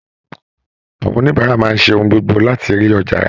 Àwọn oníbàárà máa ń ṣe ohun gbogbo láti rí ọjà rà